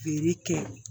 Feere kɛ